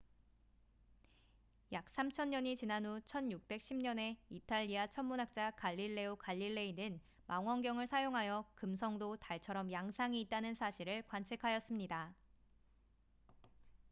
약 3천년이 지난 후 1610년에 이탈리아 천문학자 갈릴레오 갈릴레이는 망원경을 사용하여 금성도 달처럼 양상이 있다는 사실을 관측하였습니다